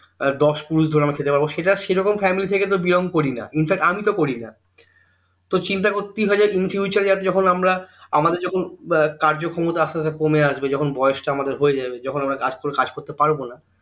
দশ পুরুষ ধরে আমরা খেতে পারব সেটা সেরকম family থেকে তো belong করি না infact আমি তো করিনা তো চিন্তা infuture যাতে যখন আমরা আমাদের যখন কার্য ক্ষমতা আস্তে আস্তে কমে আসবে যখন বয়েস তা আমাদের হয়ে যাবে যখন আমরা কাজ করতে পারবোনা